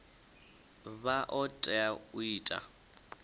vha o tea u ita